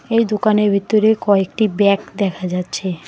এই দোকানের ভেতরে কয়েকটি ব্যাগ দেখা যাচ্ছে।